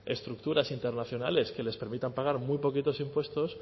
estructuras internacionales que les permitan pagar muy pocos impuestos